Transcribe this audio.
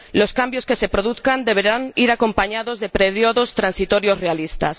Los cambios que se produzcan deberán ir acompañados de períodos transitorios realistas.